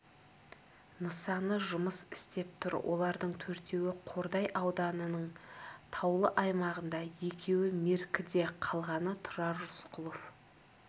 нысаны жұмыс істеп тұр олардың төртеуі қордай ауданының таулы аймағында екеуі меркіде қалғаны тұрар рысқұлов